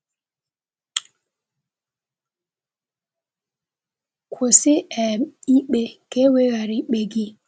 “Kwụsị um ikpe, ka e wee ghara ikpe gị.”